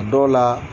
A dɔw la